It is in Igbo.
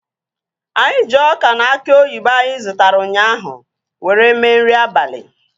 Anyị ji ọka na aki oyibo anyị zụtara ụnyaahụ were mee nri abalị